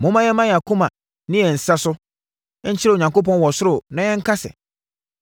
Momma yɛmma yɛn akoma ne yɛn nsa so, nkyerɛ Onyankopɔn wɔ ɔsoro, na yɛnka sɛ: